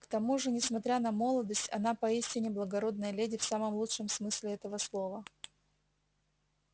к тому же несмотря на молодость она поистине благородная леди в самом лучшем смысле этого слова